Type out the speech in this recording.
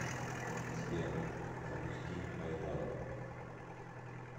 сбер запусти майдан